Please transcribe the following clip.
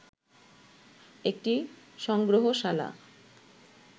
একটি সংগ্রহশালা